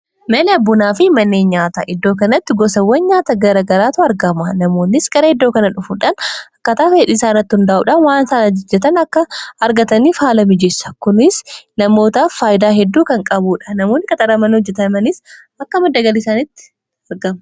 mana bunaa fi manneen nyaata iddoo kanatti gosawwan nyaata gara garaatu argama namoonnis gara iddoo kana dhufuudhaan akkaataa fedhii isaarratti hundaa'uudhan waan saan ajajjatan akka argataniif haala mijeessa kunis namootaaf faayidaa hedduu kan qabuudha namoonni akka qaxaramanii hojjetanis akka madda galii isaanitti argama